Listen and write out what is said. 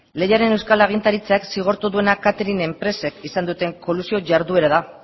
lehiaren euskal agintaritzak zigortu duena catering enpresek izan duten kolusio jarduera da